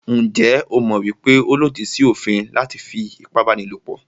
Njẹ́ o mọ̀ wípé ó lòdì sí òfin láti fí ipábánilòpọ̀?